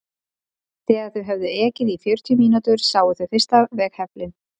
Þegar þau höfðu ekið í fjörutíu mínútur sáu þau fyrsta veghefilinn.